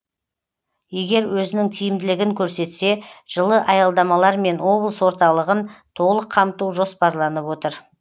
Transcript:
егер өзінің тиімділігін көрсетсе жылы аялдамалармен облыс орталығын толық қамту жоспарланып отыр